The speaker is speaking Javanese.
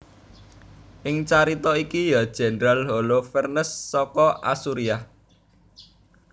Ing carita iki ya jendral Holofernes saka Asuriah